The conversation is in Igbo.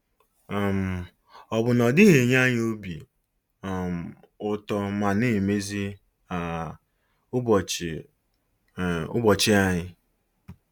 um Ọ̀ bụ na ọ dịghị enye anyị obi um ụtọ ma na emezi um ụbọchị um ụbọchị anyị?